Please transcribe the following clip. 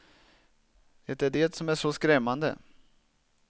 Det är det som är så skrämmande.